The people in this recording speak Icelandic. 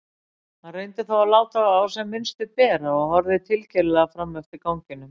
Hann reyndi þó að láta á sem minnstu bera og horfði tilgerðarlega fram eftir ganginum.